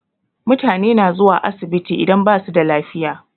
Mutane na zuwa asibiti idan basu da lafiya.